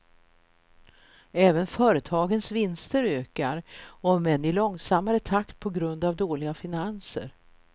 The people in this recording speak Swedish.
Även företagens vinster ökar, om än i långsammare takt på grund av dåliga finanser.